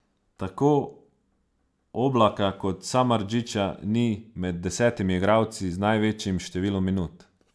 Tako Oblaka kot Samardžića ni med desetimi igralci z največjim številom minut.